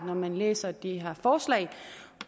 når man læser det her forslag